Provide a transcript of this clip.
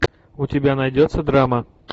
у тебя найдется драма